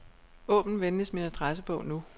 Åbn venligst min adressebog nu.